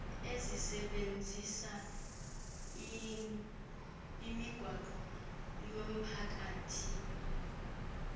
ezisebenzisa imigwaqo yomphakathi